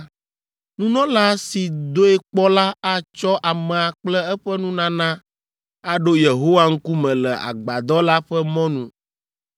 Nunɔla si doe kpɔ la atsɔ amea kple eƒe nunana aɖo Yehowa ŋkume le Agbadɔ la ƒe mɔnu.